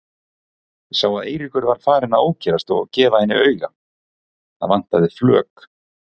Sá að Eiríkur var farinn að ókyrrast og gefa henni auga, það vantaði flök.